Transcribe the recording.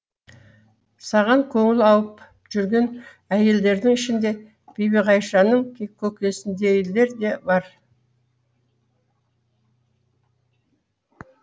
саған көңілі ауып жүрген әйелдердің ішінде бибіғайшаның көкесіндейлер бар